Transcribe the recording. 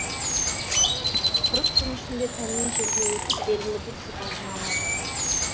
қырық күн ішінде тәннен жерге өтіп белгілі бір сипатын алады